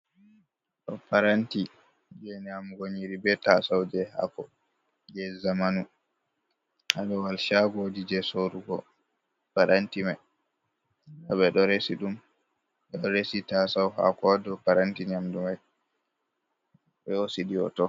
Paranti je nyamugo nyiri be tasau je hako je zamanu ha Babal shagoji je sorrugo paranti man, ɓeɗo resi ɗum ɓeɗo resi tasau hako hado paranti nyamdu mai ɓe hosi ɗum hoto.